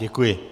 Děkuji.